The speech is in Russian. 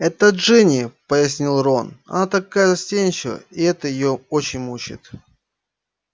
это джинни пояснил рон она такая застенчивая и это её очень мучает